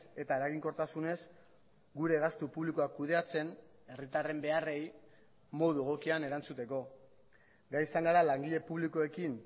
eta eraginkortasunez gure gastu publikoa kudeatzen herritarren beharrei modu egokian erantzuteko gai izan gara langile publikoekin